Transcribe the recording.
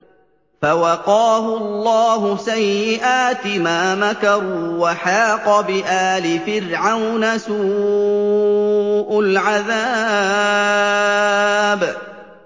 فَوَقَاهُ اللَّهُ سَيِّئَاتِ مَا مَكَرُوا ۖ وَحَاقَ بِآلِ فِرْعَوْنَ سُوءُ الْعَذَابِ